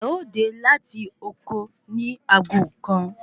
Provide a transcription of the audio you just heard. Ẹ ó dè láti oko ni aago kan